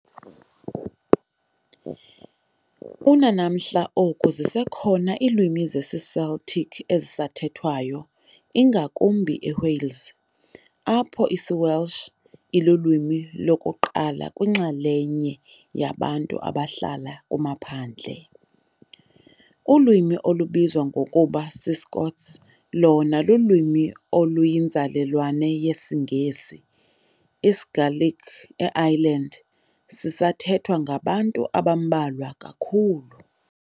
Unanamhla oku zisekho iilwimi zesiCeltic ezisathethwayo, ingakumbi eWales, apho isiWelsh ilulwimi lokuqala kwinxalenye yabantu abahlala kumaphandle. Ulwimi olubizwa ngokuba s"iScots" lona lululwimi oluyinzalelwane yesiNgesi. isiGaelic eIreland nase] sithethwa ngabantu abambalwa kakhulu.